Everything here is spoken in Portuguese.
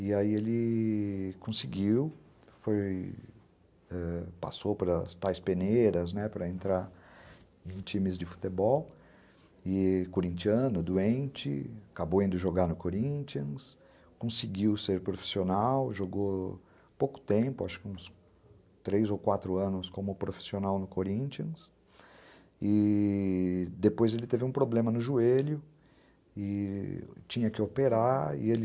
E aí ele conseguiu, foi, ãh, passou pelas tais peneiras para entrar em times de futebol, corintiano, doente, acabou indo jogar no Corinthians, conseguiu ser profissional, jogou pouco tempo, acho que uns três ou quatro anos como profissional no Corinthians e depois ele teve um problema no joelho e tinha que operar e ele